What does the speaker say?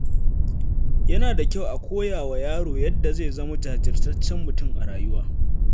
Yana da kyau a koya wa yaro yadda zai zama jajirtaccen mutum a rayuwa.